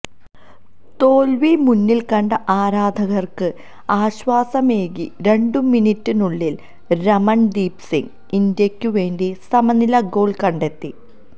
തോൽവി മുന്നിൽ കണ്ട ആരാധകർക്ക് ആശ്വാസമേകി രണ്ടു മിനിട്ടിനുള്ളിൽ രമൺ ദീപ് സിങ് ഇന്ത്യക്കു വേണ്ടി സമനില ഗോൾ കണ്ടെത്തി